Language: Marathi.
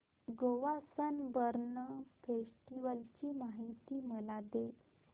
गोवा सनबर्न फेस्टिवल ची माहिती मला दे